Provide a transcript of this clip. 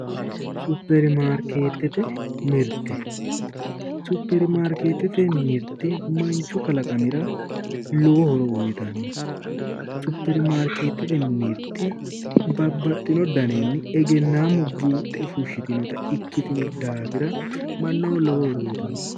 Supermaarikeetete mirtte, supermarkeetete mirtte manchu kalaqamira lowo horo uyiitanno. supermarikeetete mirtte babbaxinno daninni egeennaamu buuxe fushitinota ikkitinno daafira mannaho lowo horo uyiitanno.